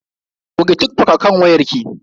Goge TikTok a kan wayar ki.